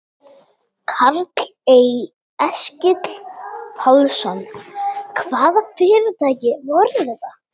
Karl Eskil Pálsson: Hvaða fyrirtæki voru þetta?